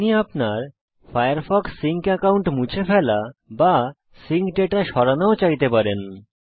আপনি আপনার Firefox sync account মুছে ফেলা বা সিঙ্ক দাতা সরানোও চাইতে পারেন